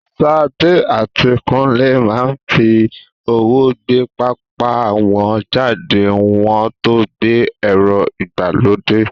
Sade àti Kunle máa ń fi ọwọ́ gbé pápá wọn jáde kí wọ́n tó gba ẹ̀rọ ìgbàlódé.